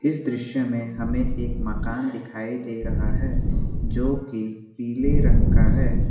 इस दृश्य में हमें एक मकान दिखाई दे रहा है जो की पीले रंग का है।